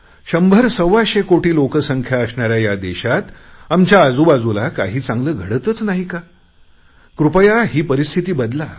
शंभरसव्वाशे कोटी लोकसंख्या असणाऱ्या या देशात आमच्या आजूबाजूला काही चांगले घडतच नाही का कृपया ही परिस्थिती बदला